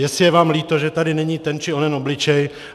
Jestli je vám líto, že tady není ten či onen obličej.